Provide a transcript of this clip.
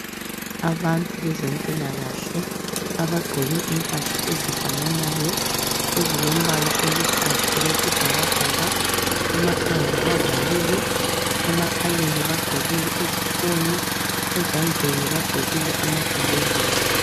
Abantu bezempilakahle abagqoke impahla ezifananayo ezilombala oluhlaza okwesibhakabhaka. Emakhanda bavalile, emakhaleni bagqokile izifunyo ezandleni bagqokile amagilovisi.